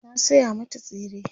na saya mata tsire